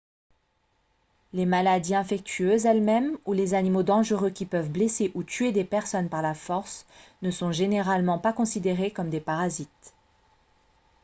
les maladies infectieuses elles-mêmes ou les animaux dangereux qui peuvent blesser ou tuer des personnes par la force ne sont généralement pas considérés comme des parasites